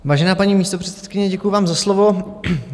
Vážená paní místopředsedkyně, děkuji vám za slovo.